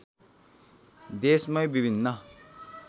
देशमै विभिन्न